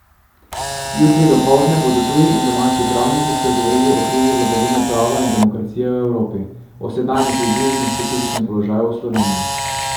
Jutri dopoldne bodo tuji in domači pravniki spregovorili o krizi vladavine prava in demokracije v Evropi, o sedanjih izzivih in specifičnem položaju v Sloveniji.